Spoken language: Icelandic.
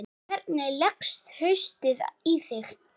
Hvernig leggst haustið í þig?